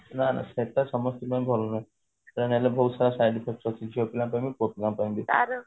ନା ନା ସେଟା ସମସ୍ତଙ୍କ ପାଇଁ ଭଲ ନୁହଁ ବହୁତ ସରସ side effects ଅଛି ଝିଅ ପିଲାଙ୍କ ପାଇଁ ବି ପୁଅ ପିଲାଙ୍କ ପାଇଁ ବି